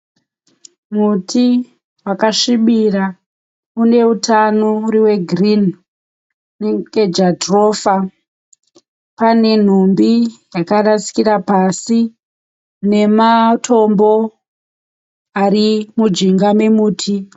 Muti wakasvibira uneutano uri wegirini unenge jatirofa. Pane nhumbi dzakarasikira pasi nematombo arimujinga memuti.